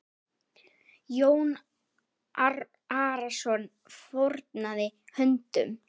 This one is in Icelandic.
Jón Arason fórnaði höndum.